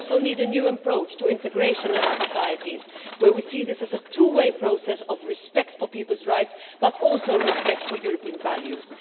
We also need a new approach to integration in our societies, where we see this as a two way process of respect for people's rights but also respect for European values.